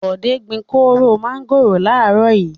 Bọ̀dé gbin kóró mángòrò láàárọ̀ yìí.